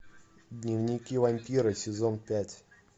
дневники вампира сезон пять